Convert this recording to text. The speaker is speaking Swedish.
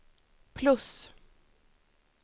plus